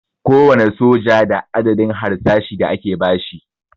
Kowane soja da adadin harsashi da ake basi